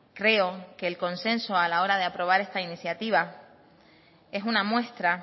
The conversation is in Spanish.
creo que el consenso a la hora de aprobar esta iniciativa es una muestra